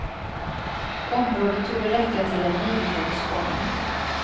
Området torde räcka till en niohålsbana.